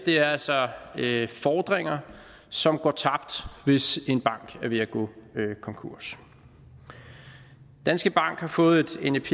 er altså fordringer som går tabt hvis en bank er ved at gå konkurs danske bank har fået et nep